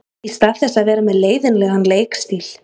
Í stað þess að vera með leiðinlegan leikstíl.